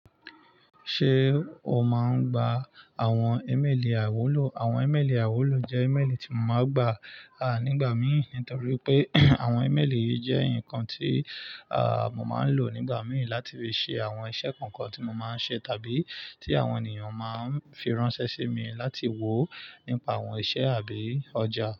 Ṣé o máa ń gba àwọn ímélì àiwúlò? Àwọn ímélì àiwúlò jẹ́ ímélì tí mo máa ń gbà, ah, nígbà mìíràn torí pé àwọn ímélì yìí jẹ́ nǹkan tí, ah, mo máa ń lò nígbà mìí láti fi ṣe àwọn iṣẹ́ kankan tí mo máa ń ṣe tàbí tí àwọn ènìyàn máa ń fi ránṣẹ́ sí mi láti wò nípa àwọn iṣẹ́ àbí ọjà.